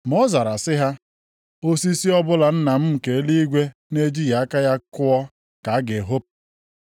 Ma ọ zara sị ha, “Osisi ọbụla Nna m nke eluigwe na-ejighị aka ya kụọ ka a ga-ehopu.